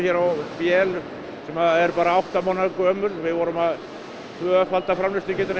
á vél sem er bara átta mánaða gömul við vorum að tvöfalda framleiðslugetuna